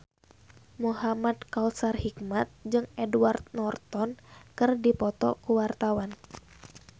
Muhamad Kautsar Hikmat jeung Edward Norton keur dipoto ku wartawan